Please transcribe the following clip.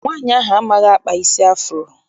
Nwaanyi ahụ amaghị akpa isi afuro.